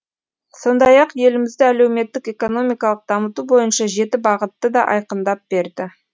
сондай ақ елімізді әлеуметтік экономикалық дамыту бойынша жеті бағытты да айқындап берді